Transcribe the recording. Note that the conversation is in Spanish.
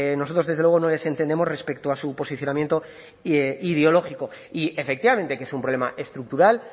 nosotros desde luego no les entendemos respecto a su posicionamiento ideológico y efectivamente que es un problema estructural